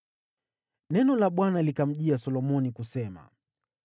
Neno la Bwana likamjia Solomoni kusema: